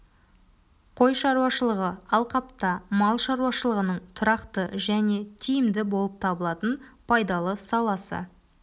қой шаруашылығы алқапта мал шаруашылығының тұрақты және тиімді болып табылатын пайдалы саласы